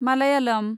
Malayalam